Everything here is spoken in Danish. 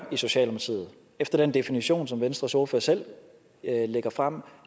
efter den definition som venstres ordfører selv lægger frem